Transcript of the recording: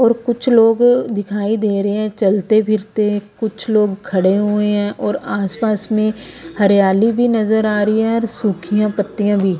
और कुछ लोगो दिखाई दे रहे हैं चलते फिरते कुछ लोग खड़े हुए हैं और आसपास में हरियाली भी नजर आ रही है और सूखियां पत्तियां भी ।